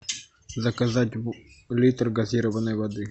заказать литр газированной воды